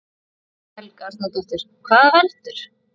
Helga Arnardóttir: Hvað veldur?